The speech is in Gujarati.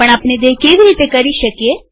પણ આપણે તે કેવી રીતે કરી શકીએ